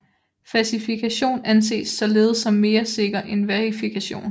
Fasifikation anses således som mere sikker end verifikation